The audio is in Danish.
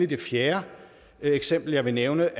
det fjerde et eksempel jeg vil nævne